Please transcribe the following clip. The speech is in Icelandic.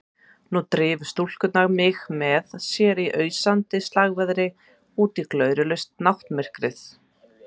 Nú drifu stúlkurnar mig með sér í ausandi slagveðri útí glórulaust náttmyrkrið.